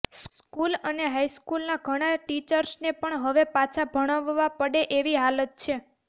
school અને હાઇસ્કૂલના ઘણા ટીચર્સને પણ હવે પાછા ભણાવવા પડે એવી હાલત છે